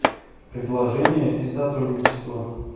предложение и сотрудничество